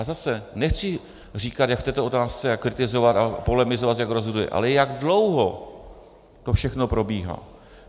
A zase, nechci říkat, jak v této otázce - kritizovat a polemizovat, jak rozhoduje, ale jak dlouho to všechno probíhá.